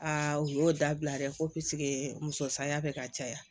u y'o dabila dɛ ko muso saya bɛ ka caya